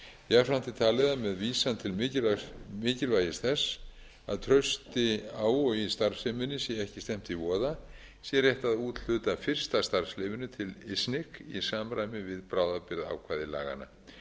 er talið að með vísan til mikilvægis þess að trausti á og í starfseminni sé ekki stefnt í voða sé rétt að úthluta fyrsta starfsleyfinu til isnic í samræmi við bráðabirgðaákvæði